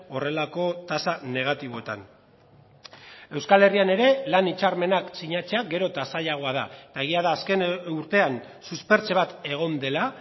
horrelako tasa negatiboetan euskal herrian ere lan hitzarmenak sinatzea gero eta zailagoa da eta egia da azken urtean suspertze bat egon dela